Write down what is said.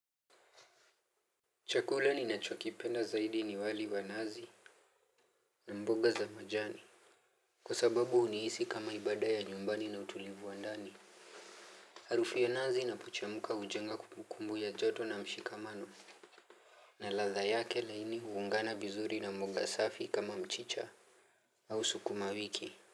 Chakula ninachokipenda zaidi ni wali wa nazi. Na mboga za majani kwa sababu unihisi kama ibada ya nyumbani na utulivu wa ndani. Harufu ya nazi inapochemka hujenga kumbukumbu ya joto na mshikamano. Na ladha yake laini huungana vizuri na mboga safi kama mchicha. Au sukuma wiki.